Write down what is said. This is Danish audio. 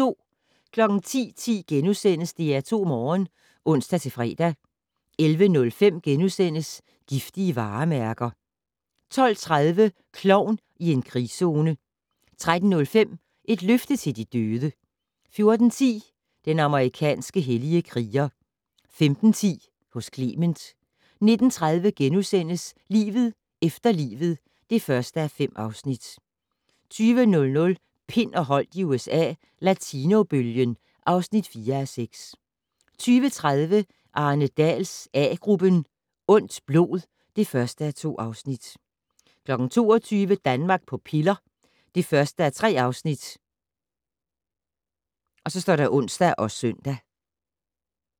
10:10: DR2 Morgen *(ons-fre) 11:05: Giftige varemærker * 12:30: Klovn i en krigszone 13:05: Et løfte til de døde 14:10: Den amerikanske hellige kriger 15:10: Hos Clement 19:30: Livet efter livet (1:5)* 20:00: Pind og Holdt i USA - Latinobølgen (4:6) 20:30: Arne Dahls A-gruppen: Ondt blod (1:2) 22:00: Danmark på piller (1:3)(ons og søn)